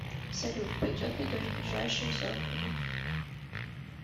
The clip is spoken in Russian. салют пойдет ли дождь в ближайшие сорок минут